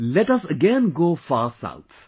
Let us again go far south